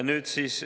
Nüüd siis …